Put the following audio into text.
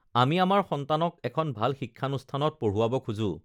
আমি আমাৰ সন্তানক এখন ভাল শিক্ষানুষ্ঠানত পঢ়ুৱাব খোজোঁ